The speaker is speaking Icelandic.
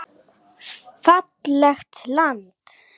Fallegt land.